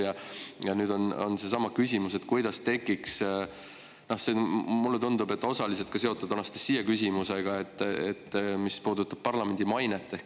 Ja nüüd on seesama küsimus, mis on, mulle tundub, osaliselt seotud Anastassia küsimusega parlamendi maine kohta.